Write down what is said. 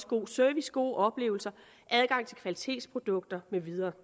god service gode oplevelser adgang til kvalitetsprodukter med videre